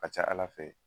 A ka ca ala fɛ